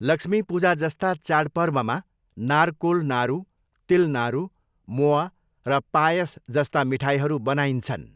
लक्ष्मी पूजाजस्ता चाडपर्वमा नारकोल नारु, तिल नारु, मोआ र पायस जस्ता मिठाईहरू बनाइन्छन्।